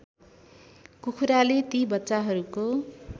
कुखुराले ती बच्चाहरूको